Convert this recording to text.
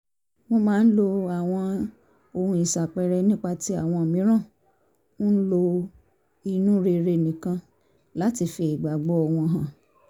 wọ́n máa lo àwọn ohun ìṣàpẹẹrẹ nígbà tí àwọn mìíràn ń lo inú rere nìkan láti fi ìgbàgbọ́ wọn hàn